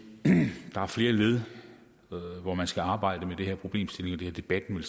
at der er flere led hvor man skal arbejde med den her problemstilling og det har debatten vel